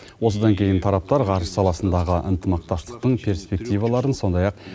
осыдан кейін тараптар ғарыш саласындағы ынтымақтастықтың перспективаларын сондай ақ